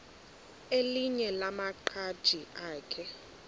elinye lamaqhaji akhe